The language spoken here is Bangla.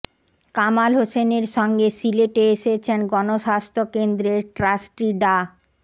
কামাল হোসেনের সঙ্গে সিলেটে এসেছেন গণস্বাস্থ্য কেন্দ্রের ট্রাস্টি ডা